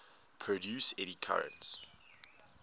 produce eddy currents